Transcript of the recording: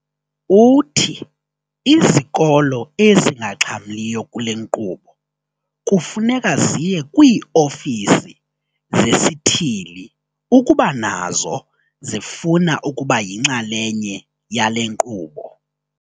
Uthi izikolo ezingaxhamliyo kule nkqubo kufuneka ziye kwii-ofisi zesithili ukuba nazo zifuna ukuba yinxalenye yale nkqubo.